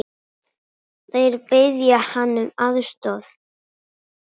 Þeir biðja hann um aðstoð.